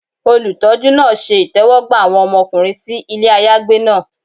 Olutọjú naa ṣe itẹwọgba awọn ọmọkunrin si ile ayagbe naa